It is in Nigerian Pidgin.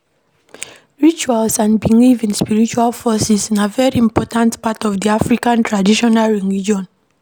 Rituals and belief in spiritual forces na very important part of di African Traditional Religion